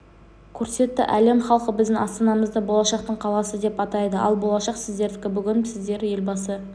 көрсетті әлем халқы біздің астанамызды болашақтың қаласы деп атайды ал болашақ сіздердікі бүгін сіздер елбасы